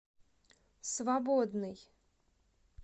свободный